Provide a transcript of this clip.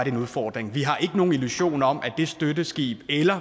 en udfordring vi har ikke nogen illusion om at det støtteskib eller